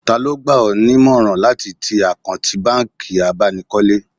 Taa ló gbà ọ́ nímọ̀ràn láti ti àkáǹtì bánkì abánikọ́lé